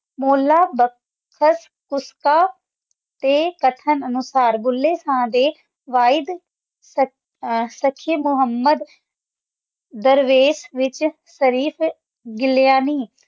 ਮੂਲਾਬਖਸ਼ ਫੂਲ ਮਖਾਨੇ ਦੇ ਲਾਭ ਸੁੱਖੀ ਮੁਹੰਮਦ ਦਰਵੇਸ਼ ਨਵੀ ਤਰਨੀ ਫੁੱਲ ਭਾਵ